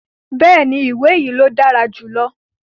Bẹ́ẹ̀ni, iwe yii lo dara julọ